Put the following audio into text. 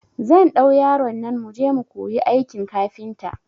Zan ɗau yaron nan muje mu kuyi aikin kafinta